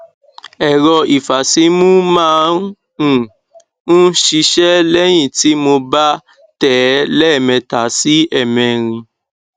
ẹrọ ìfàsímú máa um ń ṣiṣẹ lẹyìn tí mo bá tẹ ẹ lẹẹmẹta sí ẹẹmẹrin